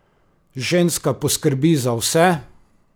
Ženska poskrbi za vse!